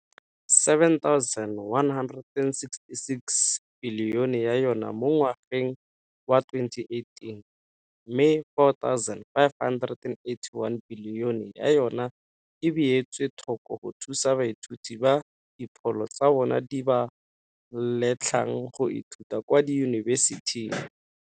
R7.166 bilione ya yona mo ngwageng wa 2018 mme R4.581 bilione ya yona e beetswe thoko go thusa baithuti ba dipholo tsa bona di ba letlang go ithuta kwa diyunibesithing.